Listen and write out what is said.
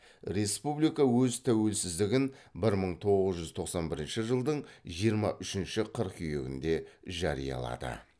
республика өз тәуелсіздігін бір мың тоғыз жүз тоқсан бірінші жылдың жиырма үшінші қыркүйегінде жариялады